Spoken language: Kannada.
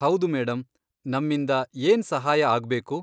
ಹೌದು ಮೇಡಂ, ನಮ್ಮಿಂದ ಏನ್ ಸಹಾಯ ಆಗ್ಬೇಕು?